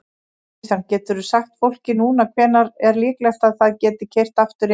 Kristján: Geturðu sagt fólki núna hvenær er líklegt að það geti keyrt aftur yfir?